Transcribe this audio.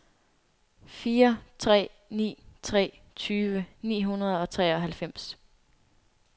fire tre ni tre tyve ni hundrede og treoghalvfems